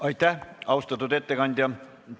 Aitäh, austatud ettekandja!